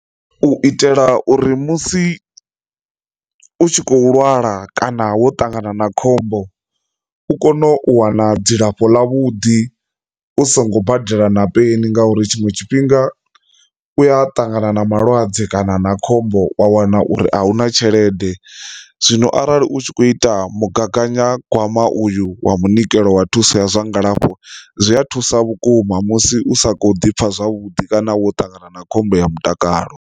U itela uri musi u tshi khou lwala kana wo ṱangana na khombo u kone u wana dzilafho ḽa vhuḓi u songo badela na peni ngauri tshiṅwe tshifhinga u ya ṱangana na malwadze kana na khombo wa wana uri a hu na tshelede, zwino arali u tshi kho ita mugaganyagwama uyu wa munikelo wa thuso ya zwa ngalafho zwi a thusa vhukuma musi u sa kho ḓi pfha zwavhuḓi kana wo ṱangana na khombo ya mutakalo.